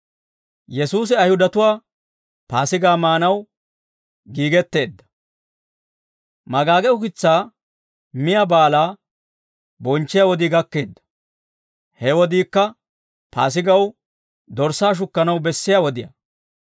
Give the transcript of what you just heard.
Magaage Ukitsaa Miyaa Baalaa bonchchiyaa wodii gakkeedda; he wodiikka Paasigaw dorssaa shukkanaw bessiyaa wodiyaa.